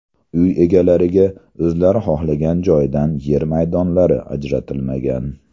Uy egalariga o‘zlari xohlagan joydan yer maydonlari ajratilmagan.